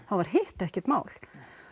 þá var hitt ekkert mál